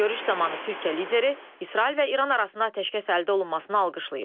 Görüş zamanı Türkiyə lideri İsrail və İran arasında atəşkəs əldə olunmasını alqışlayıb.